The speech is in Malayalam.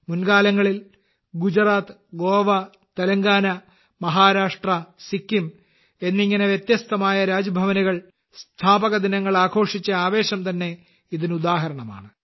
മുൻകാലങ്ങളിൽ ഗുജറാത്ത് ഗോവ തെലങ്കാന മഹാരാഷ്ട്ര സിക്കിം എന്നിങ്ങനെ വ്യത്യസ്തമായ രാജ്ഭവനുകൾ സ്ഥാപക ദിനങ്ങൾ ആഘോഷിച്ച ആവേശം തന്നെ ഇതിന് ഉദാഹരണമാണ്